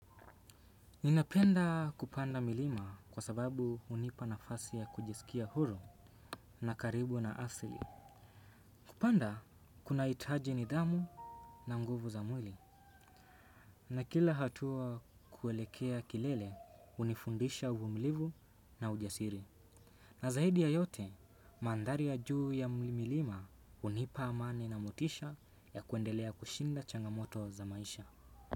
Napenda kupanda milima kwa sababu hunipa nafasi ya kujisikia huru na karibu na asili. Kupanda kunaitaji nidhamu na nguvu za mwili. Na kila hatua kuelekea kilele hunifundisha uvumilivu na ujasiri na zaidi ya yote, mandhari ya juu ya milima hunipa amani na motisha ya kuendelea kushinda changamoto za maisha.